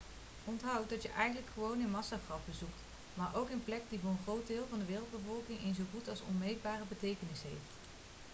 onthoud dat je eigenlijk gewoon een massagraf bezoekt maar ook een plek die voor een groot deel van de wereldbevolking een zo goed als onmeetbare betekenis heeft